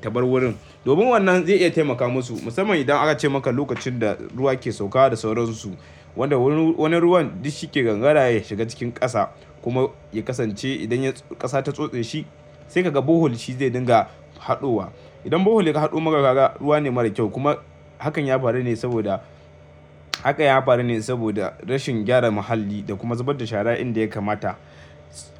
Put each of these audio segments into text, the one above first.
tabar wurin. Domin wannan zai iya taimaka musu. Musamman idan aka ce maka lokacin da ruwa ke sauka da sauran su. Wanda wurin, wani ruwan duk shi ke gangara ya shiga cikin ƙasa kuma ya kasance idan ƙasa ta tsotse shi sai ka ga borehole shi zai dinga haɗowa. Idan borehole ya haƙo maka ka ga ruwa ne mara kyau kuma hakan ya faru ne saboda, haka ya faru ne saboda rashin gyara muhalli da kuma zubar da shara inda ya kamata.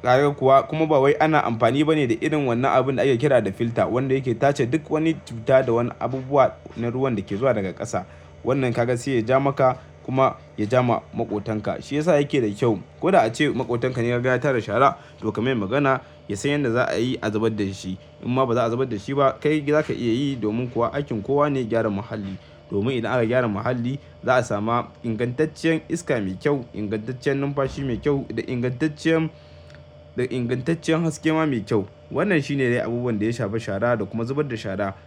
Kaga kuwa kuma ba wai ana amfani ba ne da irin wannan abin da ake kira da filter wanda yake tace duk wani cuta da wani abubuwa na ruwan da ke zuwa daga ƙasa. Wannan ka ga sai ya ja maka kuma ya ja ma maƙotanka. Shi yasa yake da kyau. Ko da ace maƙotanka ne ka ga ya tara shara to ka mai magana, ya san yadda za a yi a zubar da shi. In ma ba za a zubar da shi ba. Kai za ka iya yi domin kuwa aikin kowa ne gyaran muhalli. Domin idan aka gyara muhalli za a sami ingantaccen iska mai kyau, ingantaccen numfashi mai kyau da ingantaccen haske ma mai kyau. Wannan shi ne dai abubuwan da ya shafi shara da kuma zubar da shara.